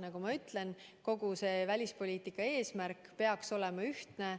Nagu ma ütlen, välispoliitiline eesmärk peaks olema ühtne